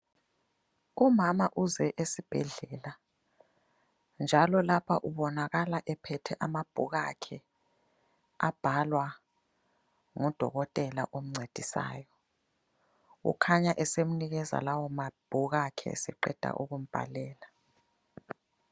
Umama uze esibhedlela njalo lapha ubonakala ephethe amabhuku akhe abhalwa ngudokotela omncedisayo, okhanya esemnikeza lawo mabhuku akhe eseqeda ukumbhalela.